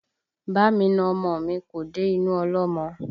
Bá mi na ọmọ mi, kò dé inú ọlọ́mọ